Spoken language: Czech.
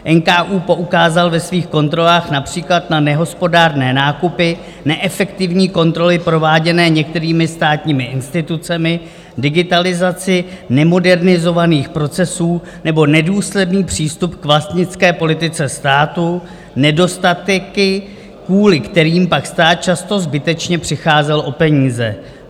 NKÚ poukázal ve svých kontrolách například na nehospodárné nákupy, neefektivní kontroly prováděné některými státními institucemi, digitalizaci nemodernizovaných procesů nebo nedůsledný přístup k vlastnické politice státu, nedostatky, kvůli kterým pak stát často zbytečně přicházel o peníze.